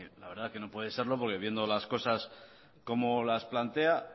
la verdad esque no puede serlo porque viendo las cosas como las plantea